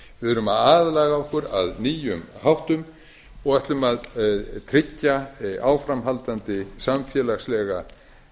við erum að aðlaga okkur að nýjum háttum og ætlum að tryggja áframhaldandi samfélagslega